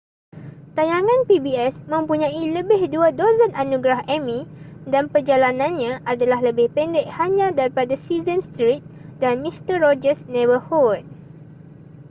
tayangan pbs mempunyai lebih dua dozen anugerah emmy dan perjalanannya adalah lebih pendek hanya daripada sesame street dan mister rogers' neighborhood